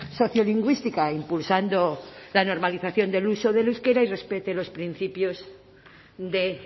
sociolingüística impulsando la normalización del uso del euskera y respete los principios de